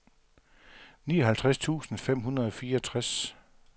nioghalvtreds tusind fem hundrede og fireogtres